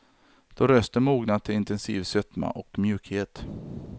Då rösten mognat till intensiv sötma och mjukhet.